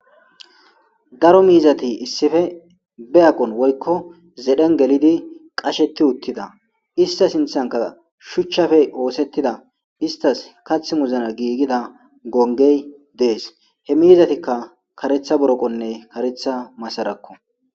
daro miizati issife be aqon woykko zedhen gelidi qasheti uttida ista sinthanka shuchchafey oosettida istas kath muzna giigida gongey dees he miizatikka karetha boroqonne karetha masarakko